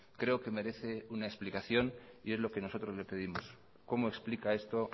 creo que merece una explicación y es lo que nosotros le pedimos cómo explica esto